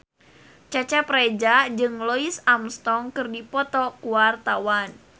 Cecep Reza jeung Louis Armstrong keur dipoto ku wartawan